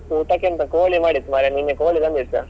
ಊಟಕ್ಕೆಂತ ಕೋಳಿ ಮಾಡಿದ್ದು ಮಾರ್ರೆ ನಿನ್ನೆ ಕೋಳಿ ತಂದಿದ್ದ್.